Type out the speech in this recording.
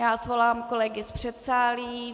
Já svolám kolegy z předsálí.